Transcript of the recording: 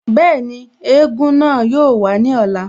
Bẹ́ẹ̀ni, egúngún náà yóò wàá ní ọ̀la